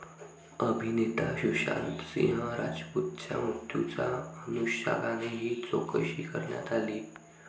अभिनेता सुशांतसिंह राजपूतच्या मृत्यूच्या अनुषंगाने ही चौकशी करण्यात आली.